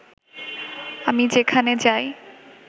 আমি যেখানে যাই